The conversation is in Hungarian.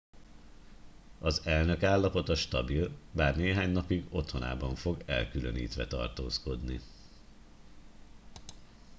az elnök állapota stabil bár néhány napig otthonában fog elkülönítve tartózkodni